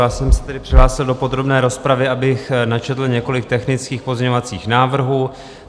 Já jsem se tedy přihlásil do podrobné rozpravy, abych načetl několik technických pozměňovacích návrhů.